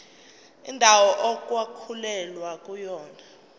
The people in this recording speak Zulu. indawo okwakulwelwa kuyona